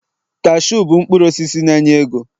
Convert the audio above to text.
cashew bụ mkpụrụ osisi na enye ego